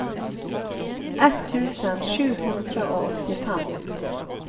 ett tusen sju hundre og åttifem